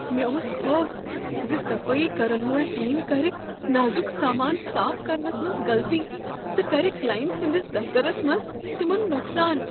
مےٚ اوس خوف ز صفٲیی کرن وول ٹیم کرِ نازک سامان صاف کرنس منٛز غلطی تہٕ کرِ کلائنٹ سٕندس دفترس منٛز تمن نقصان۔